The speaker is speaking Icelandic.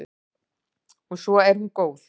Og svo er hún góð.